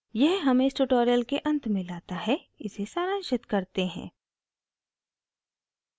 यह हमें इस tutorial के अंत में let है इसे सारांशित करते हैं